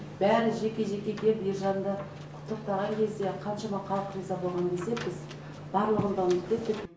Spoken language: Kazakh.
бәрі жеке жеке келіп ержанды құттықтаған кезде қаншама халық риза болған кезде біз барлығын да ұмытып кеттік